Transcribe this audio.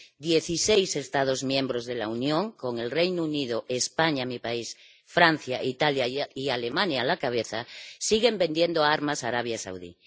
Dieciséis Estados miembros de la Unión, con el Reino Unido, España —mi país—, Francia, Italia y Alemania a la cabeza, siguen vendiendo armas a Arabia Saudí.